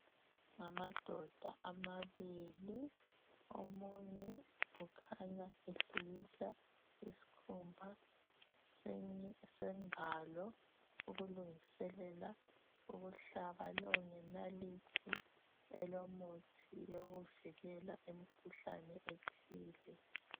Ngamadoda amabili, omunye ukhanya ehlikihla isikhumba sengalo ukulungiselela ukuhlaba lowo ngenathili elomuthi yokuvikela imkhuhlane ethile.